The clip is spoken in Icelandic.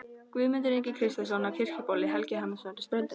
Guðmundur Ingi Kristjánsson á Kirkjubóli, Helgi Hannesson á Strönd